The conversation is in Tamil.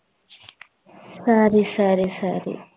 சரி சரி சரி